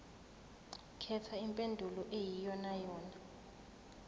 khetha impendulo eyiyonayona